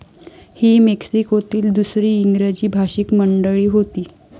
ही मेक्सिकोतील दुसरी इंग्रजी भाषिक मंडळी होती.